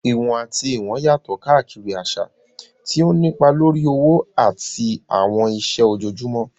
Ìwọ̀n àti ìwọ̀n yàtọ̀ káàkiri àṣà, tí ó ń nípa lórí òwò àti àwọn iṣẹ́ ojoojúmọ́.